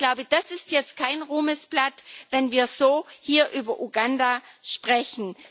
Ich glaube, das ist jetzt kein Ruhmesblatt, wenn wir hier so über Uganda sprechen.